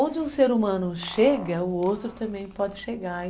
Onde um ser humano chega, o outro também pode chegar.